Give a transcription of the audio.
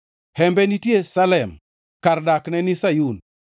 Hembe nitie Salem kar dakne ni Sayun.